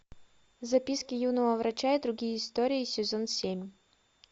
записки юного врача и другие истории сезон семь